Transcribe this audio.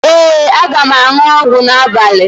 Ee, aga m aṅụ ọgwụ m n'abalị